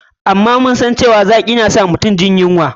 Amma mun san cewa lemun zaƙi na san mutum jin yunwa.